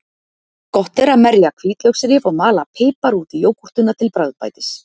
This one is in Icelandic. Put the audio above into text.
Gott er að merja hvítlauksrif og mala pipar út í jógúrtina til bragðbætis.